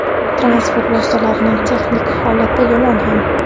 Transport vositalarining texnik holati yomon ham.